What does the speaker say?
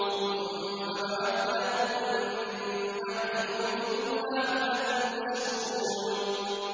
ثُمَّ بَعَثْنَاكُم مِّن بَعْدِ مَوْتِكُمْ لَعَلَّكُمْ تَشْكُرُونَ